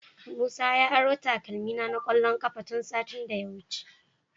Musa ya aro takalmina na kwallon kafa tun satin da ya wuce.